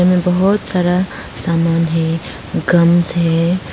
इसमें बहुत सारा सामान है है।